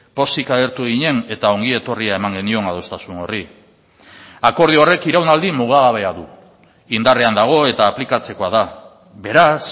pozik agertu ginen eta ongi etorria eman genion adostasun horri akordio horrek iraunaldi mugagabea du indarrean dago eta aplikatzekoa da beraz